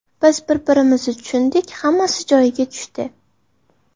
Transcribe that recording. Biz bir-birimizni tushundik, hammasi joyiga tushdi.